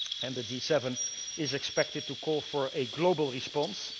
The G7 is expected to call for a global response.